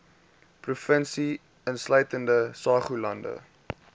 provinsie insluitende saoglande